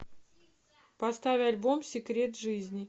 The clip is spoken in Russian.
поставь альбом секрет жизни